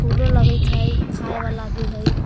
फूलो लागत हय खाए वाला भी हय।